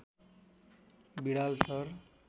Widal sir